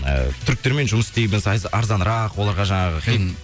ы түріктермен жұмыс істейміз арзанырақ оларға жаңағы хит